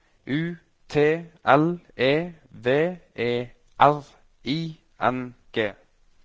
U T L E V E R I N G